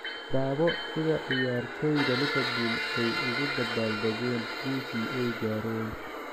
Daawo sida ciyaartoyda Liverpool ay ugu dabaal dageen guushii ay gaareen